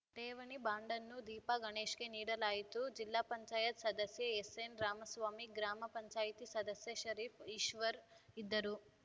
ಠೇವಣಿ ಬಾಂಡನ್ನು ದೀಪಾ ಗಣೇಶ್‌ಗೆ ನೀಡಲಾಯಿತು ಜಿಪಂ ಸದಸ್ಯ ಎಸ್‌ಎನ್‌ ರಾಮಸ್ವಾಮಿ ಗ್ರಾಮ ಪಂಚಾಯತಿ ಸದಸ್ಯ ಶರೀಫ್‌ ಈಶ್ವರ್‌ ಇದ್ದರು